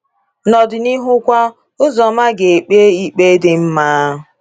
N’ọdịnihu kwa, Uzoma ga-ekpe ikpe dị mma.